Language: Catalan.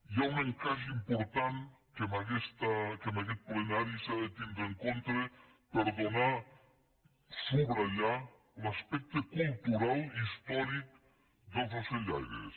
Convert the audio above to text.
hi ha un encaix important que en aguest plenari s’ha de tindre en compte per subratllar l’aspecte cultural i històric dels ocellaires